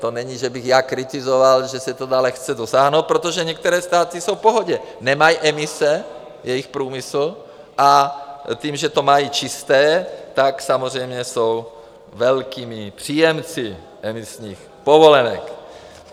To není, že bych já kritizoval, že se toho dá lehce dosáhnout, protože některé státy jsou v pohodě, nemají emise, jejich průmysl, a tím, že to mají čisté, tak samozřejmě jsou velkými příjemci emisních povolenek.